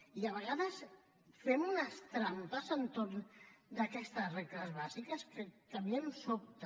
i a vegades fem unes trampes entorn d’aquestes regles bàsiques que a mi em sobta